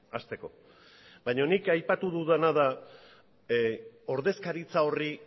hasteko baina nik aipatu dudana da ordezkaritza horri